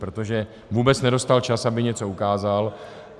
Protože vůbec nedostal čas, aby něco ukázal.